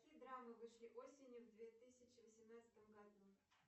какие драмы вышли осенью в две тысячи восемнадцатом году